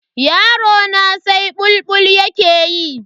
Yarona sai bulbul yake ta yi.